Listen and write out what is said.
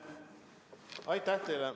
Aitäh teile!